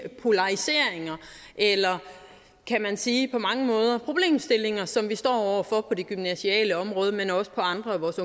polariseringer eller kan man sige de problemstillinger som vi står over for på det gymnasiale område men også på andre af vores